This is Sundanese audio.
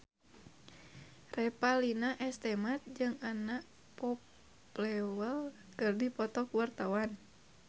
Revalina S. Temat jeung Anna Popplewell keur dipoto ku wartawan